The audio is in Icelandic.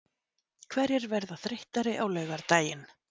Hverjir verða þreyttari á laugardaginn?